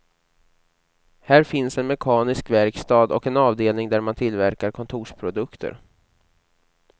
Här finns en mekanisk verkstad och en avdelning där man tillverkar kontorsprodukter.